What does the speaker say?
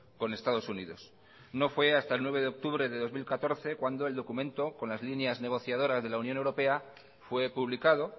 con estados unidos no fue hasta el nueve de octubre de dos mil catorce cuando el documento con las líneas negociadoras de la unión europea fue publicado